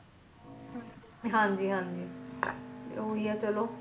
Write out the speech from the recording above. ਹਾਂ ਜੀ ਹਾਂ ਜੀ